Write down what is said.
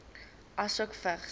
asook vigs